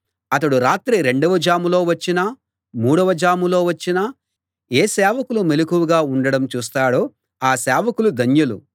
అతడు రాత్రి రెండవ జాములో వచ్చినా మూడవ జాములో వచ్చినా ఏ సేవకులు మెలకువగా ఉండడం చూస్తాడో ఆ సేవకులు ధన్యులు